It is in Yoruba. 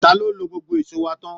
Ta ló lo gbogbo èṣó wa tán